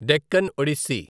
Deccan Odissi